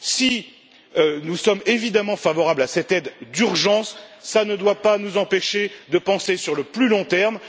Si nous sommes évidemment favorables à cette aide d'urgence, cela ne doit pas nous empêcher de penser sur le plus long terme.